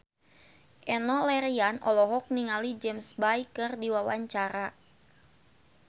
Enno Lerian olohok ningali James Bay keur diwawancara